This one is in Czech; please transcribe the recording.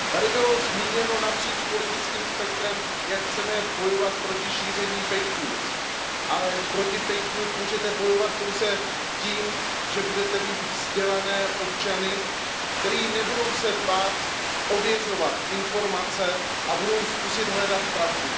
Bylo zde napříč politickým spektrem zmíněno, jak chceme bojovat proti šíření fake news ale proti fake news můžete bojovat pouze tím, že budete mít vzdělané občany, kteří se nebudou bát ověřovat informace a budou zkoušet hledat pravdu.